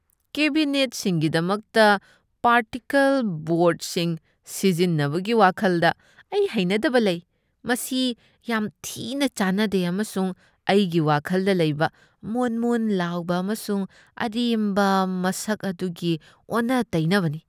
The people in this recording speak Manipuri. ꯀꯥꯕꯤꯅꯦꯠꯁꯤꯡꯒꯤꯗꯃꯛꯇ ꯄꯥꯔꯇꯤꯀꯜ ꯕꯣꯔ꯭ꯗꯁꯤꯡ ꯁꯤꯖꯤꯟꯅꯕꯒꯤ ꯋꯥꯈꯜꯗ ꯑꯩ ꯍꯩꯅꯗꯕ ꯂꯩ꯫ ꯃꯁꯤ ꯌꯥꯝ ꯊꯤꯅꯥ ꯆꯥꯅꯗꯦ ꯑꯃꯁꯨꯡ ꯑꯩꯒꯤ ꯋꯥꯈꯜꯗ ꯂꯩꯕ ꯃꯣꯟ ꯃꯣꯟ ꯂꯥꯎꯕ ꯑꯃꯁꯨꯡ ꯑꯔꯦꯝꯕ ꯃꯁꯛ ꯑꯗꯨꯒꯤ ꯑꯣꯟꯅ ꯇꯩꯅꯕꯅꯤ ꯫